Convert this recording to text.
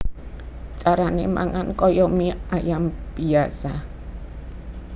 Carané mangan kaya mie ayam biyasa